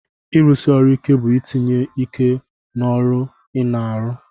Irusi ọrụ ike bu itinye ike n'ọrụ ina arụ